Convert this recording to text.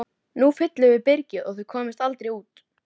Nú fyllum við byrgið og þið komist aldrei út!